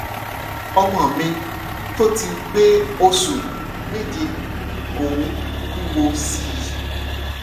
ọmọ mi tó ti pé oṣù méje kò ń wúwo sí i i